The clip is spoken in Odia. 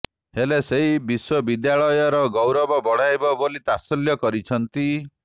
ହେଲେ ସେହି ବିଶ୍ୱବିଦ୍ୟାଳୟ ଗୌରବ ବଢ଼ାଇବ ବୋଲି ତାତ୍ସଲ୍ୟ କରି କହିଛନ୍ତି